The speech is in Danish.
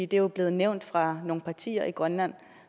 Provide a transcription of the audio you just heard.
det er jo blevet nævnt fra nogle partier i grønland